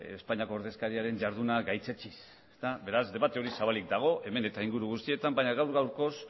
espainiako ordezkariaren jarduna gaitzetsiz beraz debate hori zabalik dago hemen eta inguru guztietan baina gaur gaurkoz